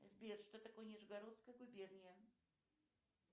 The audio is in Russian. сбер что такое нижегородская губерния